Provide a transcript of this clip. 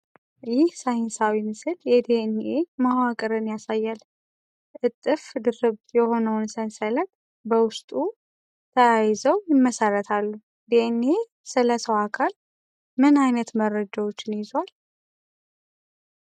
ይህ ሳይንሳዊ ምስል የዲኤንኤ (DNA) መዋቅርን ያሳያል። እጥፍ ድርብ የሆነውን ሰንሰለት (double helix) ያሳያል፤ በውስጡ 'Adenine' ከ'Thymine' እና 'Guanine' ከ'Cytosine' ጋር ተያይዘው 'Base pairs' ይመሰርታሉ። ዲኤንኤ ስለ ሰው አካል ምን ዓይነት መረጃዎችን ይዟል?